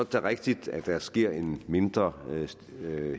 da rigtigt at der sker en mindre